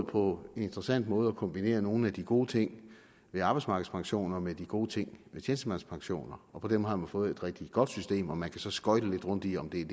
på en interessant måde formået at kombinere nogle af de gode ting ved arbejdsmarkedspensioner med de gode ting ved tjenestemandspensioner og på den måde har man fået et rigtig godt system og man kan så skøjte lidt rundt i om det er